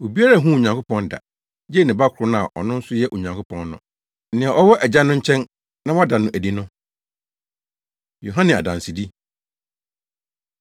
Obiara nhuu Onyankopɔn da, gye ne Ba koro no a ɔno nso yɛ Onyankopɔn no, nea ɔwɔ Agya no nkyɛn na wada no adi no. Yohane Adansedi